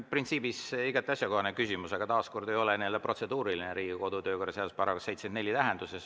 Printsiibis igati asjakohane küsimus, aga taaskord ei ole see protseduuriline Riigikogu kodu- ja töökorra seaduse § 74 tähenduses.